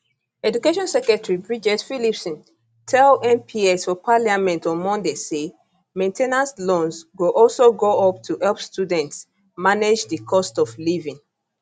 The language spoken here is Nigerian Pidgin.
education secretary bridget phillipson tell mps for parliament on monday say main ten ance loans go also go up to help students manage di cost of living